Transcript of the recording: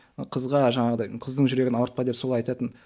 қызға жаңағыдай қыздың жүрегін ауыртпа деп солай айтатын